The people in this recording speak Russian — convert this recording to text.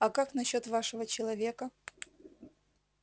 а как насчёт вашего человека